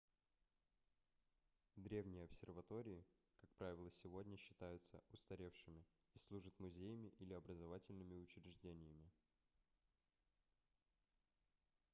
древние обсерватории как правило сегодня считаются устаревшими и служат музеями или образовательными учреждениями